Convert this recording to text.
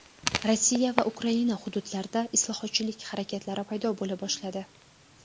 Rossiya va Ukraina hududlarida islohotchilik harakatlari paydo bo‘la boshladi.